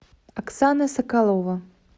оксана соколова